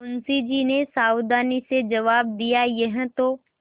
मुंशी जी ने सावधानी से जवाब दियायह तो